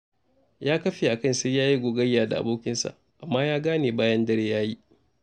Ya kafe a kan sai ya yi gogayya da abokinsa, amma ya gane bayan dare ya yi.